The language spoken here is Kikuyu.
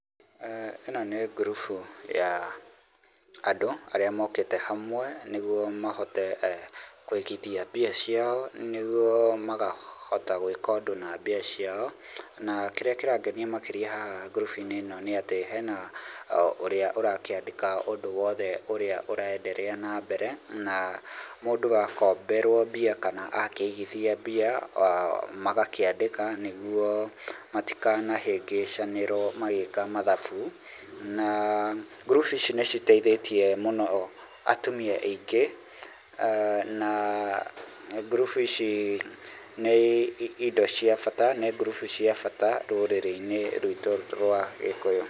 ĩno nĩ ngurubu ya andũ arĩa mokĩte hamwe, nĩguo mahote kũigithia mbia ciao nĩguo magahota gwĩka ũndũ na mbia ciao na kĩrĩa kĩrangenia makĩria ngurubu-inĩ ĩno nĩ atĩ hena ũrĩa ũrakĩandĩka ũndũ wothe ũrĩa ũrenderea na mbere, na mũndũ akomberwo mbia kana akĩigithia mbia magakĩandĩka nĩguo matikanahĩngĩcanĩrwo magĩka mathabu, na ngurubu ici nĩ citeithĩtie mũno atumia aingĩ na ngurubu ici nĩ indo cia bata, nĩ ngurubu cia bata rũrirĩ-inĩ rwitũ rwa gĩkũyũ.